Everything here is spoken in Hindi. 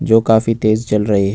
जो काफी तेज चल रहे हैं।